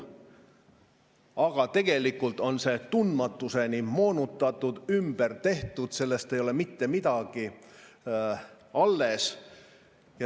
Aga tegelikult on see tundmatuseni moonutatud, ümber tehtud, sellest ei ole mitte midagi alles.